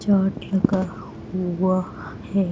चाट लगा हुआ है।